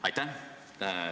Aitäh!